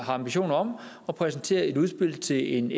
ambition om at præsentere et udspil til en